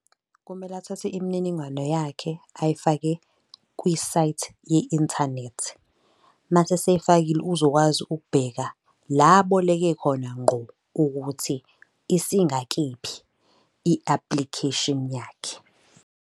Kumele athathe imininingwane yakhe ayifake kwisayithi ye-inthanethi, mase eseyifakile uzokwazi ukubheka la aboleke khona ngqo ukuthi isingakephi i-application yakhe.